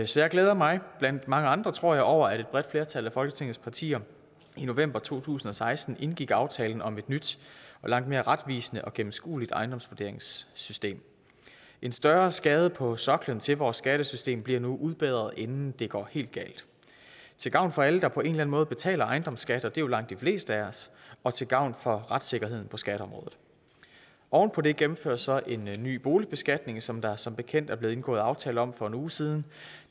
så jeg glæder mig blandt mange andre tror jeg over at et bredt flertal af folketingets partier i november to tusind og seksten indgik aftalen om et nyt og langt mere retvisende og gennemskueligt ejendomsvurderingssystem en større skade på soklen til vores skattesystem bliver nu udbedret inden det går helt galt til gavn for alle der på en eller anden måde betaler ejendomsskat og det er jo langt de fleste af os og til gavn for retssikkerheden på skatteområdet oven på det gennemføres så en ny boligbeskatning som der som bekendt er blevet indgået aftale om for en uge siden